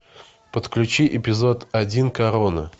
подключи эпизод один корона